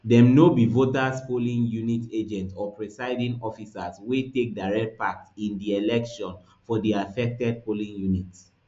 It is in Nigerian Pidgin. dem no be voters polling unit agents or presiding officers wey take direct part in di election for di affected polling units